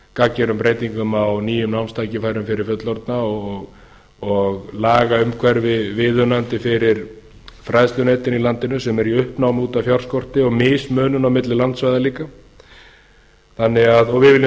gagngerum breytingum á nýjum námstækifærum fyrir fullorðna og lagaumhverfi viðunandi fyrir fræðslunetin í landinu sem eru í uppnámi út af fjárskorti og mismunun á milli landsvæða líka og við viljum